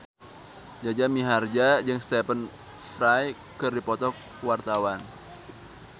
Jaja Mihardja jeung Stephen Fry keur dipoto ku wartawan